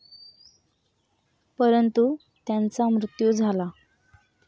परंतु त्यांचा मृत्यु झाला.